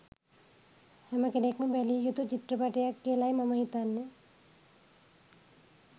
හැමකෙන්ක්ම බැලිය යුතු චිත්‍රපටයක් කියලයි මම හිතන්නෙ.